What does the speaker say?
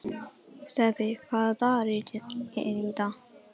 Stapi, hvaða dagur er í dag?